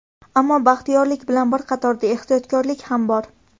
Ammo baxtiyorlik bilan bir qatorda ehtiyotkorlik ham bor.